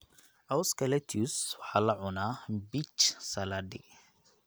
Cawska lettuce waxaa la cunaa mbich saladi.